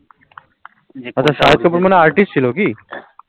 আচ্ছা, shahid kapoor মানে artist ছিলো কি?